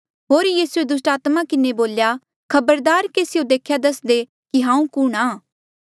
होर यीसूए दुस्टात्मा किन्हें बोल्या खबरदार केसियो देख्या दसदे कि हांऊँ कुणहां